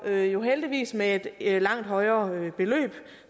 det jo heldigvis med et langt højere beløb